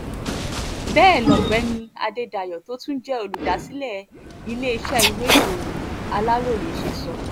bẹ́ẹ̀ lọ̀gbẹ́ni adédáyò tó tún jẹ́ olùdásílẹ̀ iléeṣẹ́ ìwéèròyìn aláròye ṣe sọ